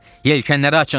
Yelkaənləri açın!